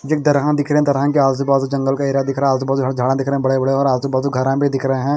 ये एक दर्या दिख रहा है दर्या के आजुबाजु जंगल का एरिया दिख रहा आजुबाजु यहाँ झाड़ा दिख रहे बड़े बड़े और आजुबाजु घर भी दिख रहे है।